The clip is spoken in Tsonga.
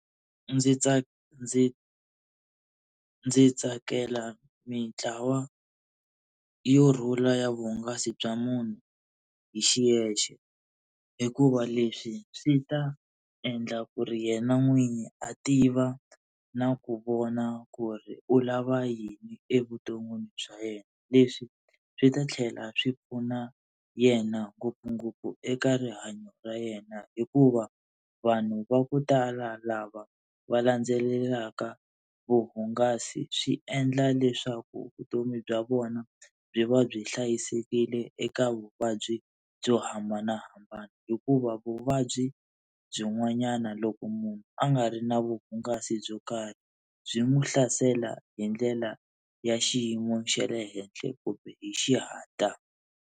Ndzi ndzi ndzi tsakela mitlawa yo rhula ya vuhungasi bya munhu hi xiyexe, hikuva leswi swi ta endla ku ri yena n'winyi a tiva na ku vona ku ri u lava yini evuton'wini bya yena. Leswi swi ta tlhela swi pfuna yena ngopfungopfu eka rihanyo ra yena hikuva vanhu va ku tala lava va landzelelaka vuhungasi swi endla leswaku vutomi bya vona byi va byi hlayisekile eka vuvabyi byo hambanahambana, hikuva vuvabyi byin'wanyana loko munhu a nga ri na vuhungasi byo karhi byi n'wi hlasela hi ndlela ya xiyimo xa le henhla kumbe hi xihatla.